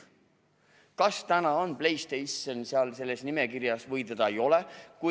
Kas täna on PlayStation seal selles nimekirjas või teda ei ole?